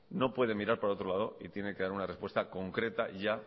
no puede mirar para otro lado y tiene que dar una respuesta concreta ya